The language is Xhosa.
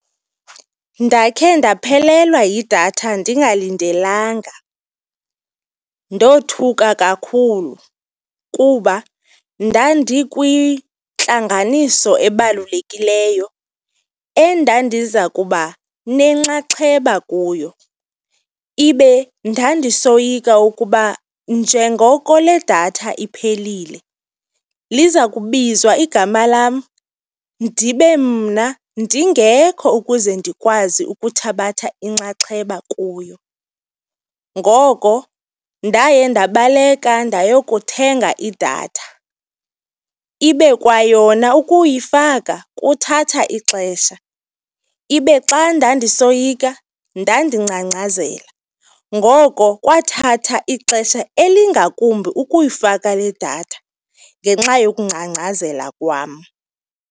Ndakhe ndaphelelwa yidatha ndingalindelanga, ndothuka kakhulu kuba ndandikwintlanganiso ebalulekileyo endandiza kuba nenxaxheba kuyo, ibe ndandisoyika ukuba njengoko le datha iphelile, liza kubizwa igama lam ndibe mna ndingekho ukuze ndikwazi ukuthabatha inxaxheba kuyo. Ngoko ndaye ndabaleka ndayokuthenga idatha, ibe kwayona ukuyifaka kuthatha ixesha. Ibe xa ndandisoyika ndandingcangcazela, ngoko kwathathaa ixesha elingakumbi ukuyifaka le datha ngenxa yokungcangcazela kwam.